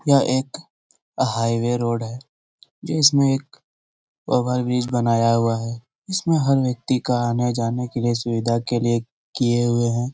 यह एक highway road है जिसमें एक ओवरब्रिज बनाया हुआ है जिसमें हर व्यक्ति का आने-जाने के सुविधा के लिए किये हुए है।